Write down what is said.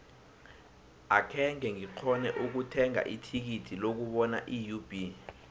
akhenge ngikghone ukuthenga ithikithi lokubona iub